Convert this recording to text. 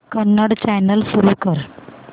Kannada channel सुरू कर